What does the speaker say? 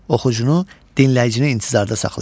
Oxucunu, dinləyicini intizarda saxlayır.